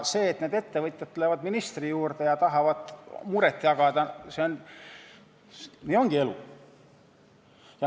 See, et need ettevõtjad lähevad ministri juurde ja tahavad muret jagada, ongi elu.